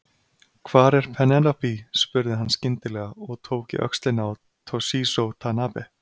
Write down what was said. Hvar er Penélope spurði hann skyndilega og tók í öxlina á Toshizo Tanabe.